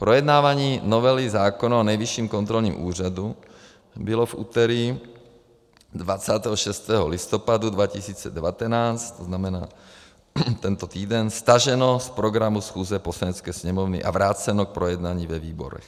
Projednávání novely zákona o Nejvyšším kontrolním úřadu bylo v úterý 26. listopadu 2019, to znamená tento týden, staženo z programu schůze Poslanecké sněmovny a vráceno k projednání ve výborech.